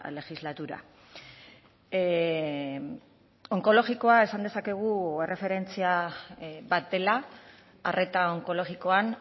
legislatura onkologikoa esan dezakegu erreferentzia bat dela arreta onkologikoan